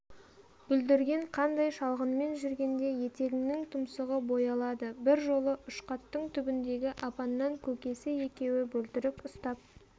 бүлдірген қандай шалғынмен жүргенде етігіңнің тұмсығы боялады бір жолы ұшқаттың түбіндегі апаннан көкесі екеуі бөлтірік ұстап